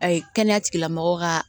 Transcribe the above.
kɛnɛya tigilamɔgɔw ka